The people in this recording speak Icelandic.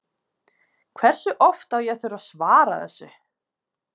Hversu oft á ég að þurfa að svara þessu?